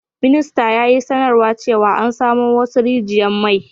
Ministar ya yi sanarwa cewa an samo wassu rigiyan mai.